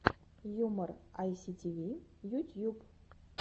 юмор айситиви ютьюб